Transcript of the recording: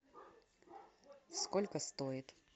сколько стоит